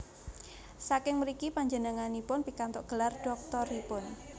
Saking mriki panjenenganipun pikantuk gelar dhoktoripun